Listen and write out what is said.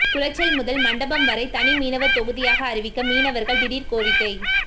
குளச்சல் முதல் மண்டபம் வரை தனி மீனவர் தொகுதியாக அறிவிக்க மீனவர்கள் திடீர் கோரிக்கை